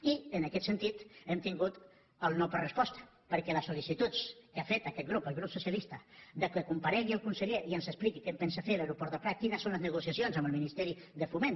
i en aquest sentit hem tingut el no per resposta perquè les sol·licituds que ha fet aquest grup el grup socialista que comparegui el conseller i ens expliqui què en pensa fer de l’aeroport del prat quines són les negociacions amb el ministeri de foment